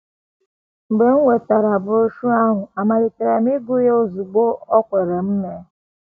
“ Mgbe m nwetara broshuọ ahụ, amalitere m ịgụ ya ozugbo o kwere m mee.